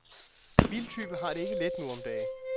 Biltyve har det ikke let nu om dage.